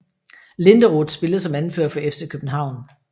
Linderoth spillede som anfører for FC København